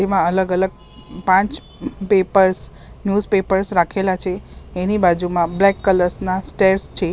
એમાં અલગ અલગ પાંચ પેપર્સ ન્યુઝ પેપર્સ રાખેલા છે એની બાજુમાં બ્લેક કલર્સ ના સ્ટેઇર્સ છે.